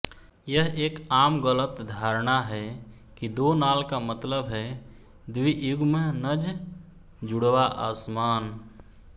यह एक आम गलत धारणा है कि दो नाल का मतलब है द्वियुग्मनज जुड़वां असमान